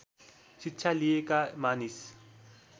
शिक्षा लिएका मानिस